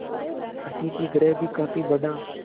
अतिथिगृह भी काफी बड़ा